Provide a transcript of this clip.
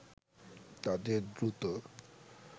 তাদের দ্রুত